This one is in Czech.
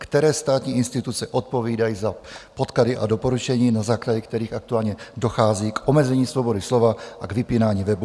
Které státní instituce odpovídají za podklady a doporučení, na základě kterých aktuálně dochází k omezení svobody slova a k vypínání webů?